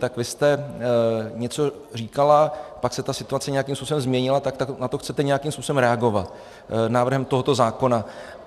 Tak vy jste něco říkala, pak se ta situace nějakým způsobem změnila, tak na to chcete nějakým způsobem reagovat návrhem tohoto zákona.